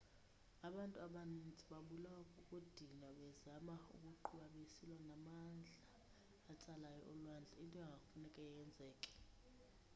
abantu abaninzi babulawa kukudinwa bezama ukuqubha besilwa namandla atsalayo olwandle into enganekufane yenzeke